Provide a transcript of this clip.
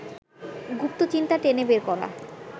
গুপ্ত চিন্তা টেনে বের করা